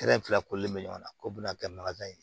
fila kolen bɛ ɲɔgɔn na k'u bɛna kɛ ye